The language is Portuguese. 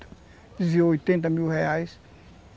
Desviou oitenta mil reais.